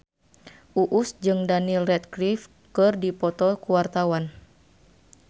Uus jeung Daniel Radcliffe keur dipoto ku wartawan